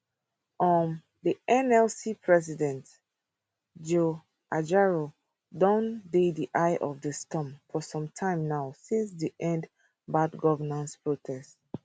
um di nlc president joe ajaero don dey di eye of di storm for some time now since di end bad governance protest